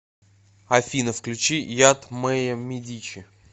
афина включи яд мэйя медичи